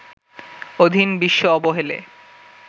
অধীন বিশ্ব অবহেলে